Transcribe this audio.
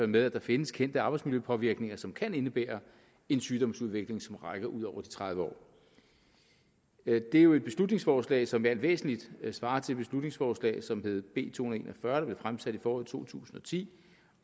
med at der findes kendte arbejdsmiljøpåvirkninger som kan indebære en sygdomsudvikling som rækker ud over tredive år det er jo et beslutningsforslag som i alt væsentligt svarer til det beslutningsforslag som hed b to hundrede og en og fyrre der blev fremsat i foråret to tusind og ti